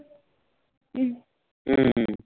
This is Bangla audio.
হম